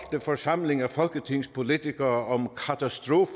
forsamling af folketingspolitikere